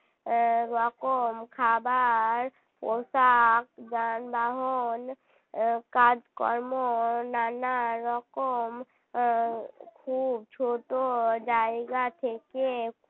উম রকম খাবার পোশাক যানবাহন কাজকর্ম ও নানা রকম খুব ছোট জায়গা থেকে